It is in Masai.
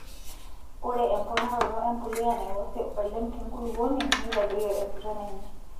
Ore emponaroto empuliya naiwosee oleng' tenkulupuoni neitadoyio empiron enye.